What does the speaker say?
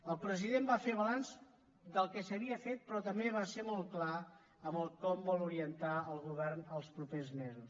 el president va fer balanç del que s’havia fet però també va ser molt clar en el com vol orientar el govern els propers mesos